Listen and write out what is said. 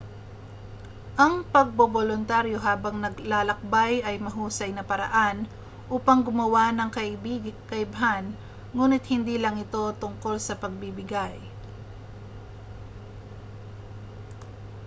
ang pagboboluntaryo habang naglalakbay ay mahusay na paraan upang gumawa ng kaibhan nguni't hindi lang ito tungkol sa pagbibigay